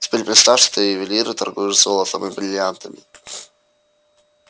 теперь представь что ты ювелир и торгуешь золотом и брильянтами